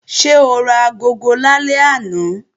Ṣé o ra agogo lálẹ́ àná?